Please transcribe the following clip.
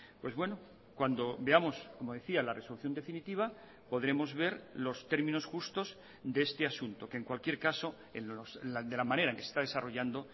pues bueno cuando veamos como decía la resolución definitiva podremos ver los términos justos de este asunto que en cualquier caso de la manera que está desarrollando